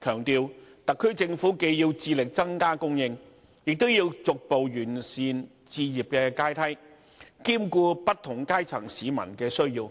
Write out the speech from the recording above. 強調特區政府既要致力增加供應，亦要逐步完善置業階梯，兼顧不同階層市民的需要，